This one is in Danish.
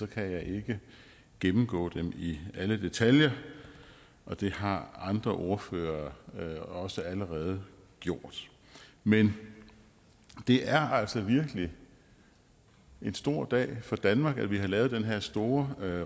kan jeg ikke gennemgå dem i alle detaljer og det har andre ordførere også allerede gjort men det er altså virkelig en stor dag for danmark at vi har lavet den her store